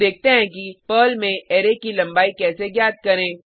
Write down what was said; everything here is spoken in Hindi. अब देखते हैं कि पर्ल में अरै की लंबाई कैसे ज्ञात करें